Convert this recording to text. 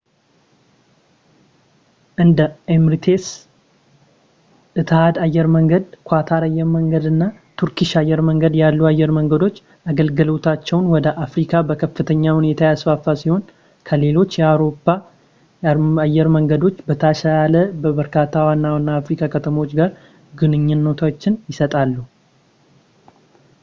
እንደ ኤሚሬትስ ፣ ኢትሃድ አየር መንገድ ፣ ኳታር አየር መንገድ እና ተርኪሽ አየር መንገድ ያሉ አየር መንገዶች አገልግሎታቸውን ወደ አፍሪካ በከፍተኛ ሁኔታ ያስፋፉ ሲሆን ከሌሎች የአውሮፓ አየር መንገዶች በተሻለ ከበርካታ ዋና-ዋና የአፍሪካ ከተሞች ጋር ግንኙነቶችን ይሰጣሉ